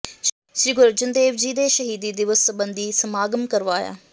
ਸ੍ਰੀ ਗੁਰੂ ਅਰਜਨ ਦੇਵ ਜੀ ਦੇ ਸ਼ਹੀਦੀ ਦਿਵਸ ਸਬੰਧੀ ਸਮਾਗਮ ਕਰਵਾਇਆ